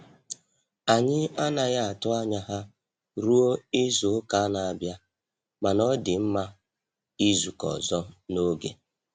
Anyị anaghị atụ anya ha ruo izu-uka na-abịa, mana ọ dị mma izukọ ọzọ n'oge.